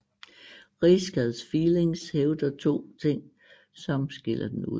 Risk as feelings hævder to ting som skiller den ud